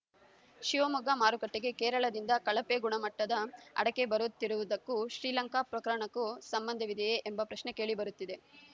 ಶಿವಮೊಗ್ಗ ಮಾರುಕಟ್ಟೆಗೆ ಕೇರಳದಿಂದ ಕಳಪೆ ಗುಣಮಟ್ಟದ ಅಡಕೆ ಬರುತ್ತಿರುವುದಕ್ಕೂ ಶ್ರೀಲಂಕಾ ಪ್ರಕರಣಕ್ಕೂ ಸಂಬಂಧವಿದೆಯೇ ಎಂಬ ಪ್ರಶ್ನೆ ಕೇಳಿ ಬರುತ್ತಿದೆ